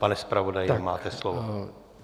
Pane zpravodaji, máte slovo.